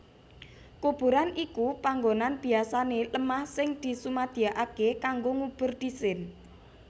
Kuburan iku panggonan biasané lemah sing disumadyakaké kanggo ngubur dhisin